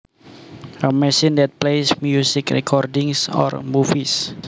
A machine that plays music recordings or movies